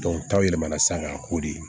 taw yɛlɛmana sisan k'a ko de